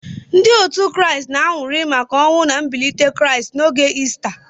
Ndị otu Kraịst na-aṅụrị maka ọnwụ na mbilite Kraịst n'oge Ista.